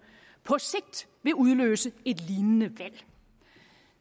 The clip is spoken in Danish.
på sigt vil udløse et lignende valg